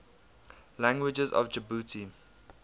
languages of djibouti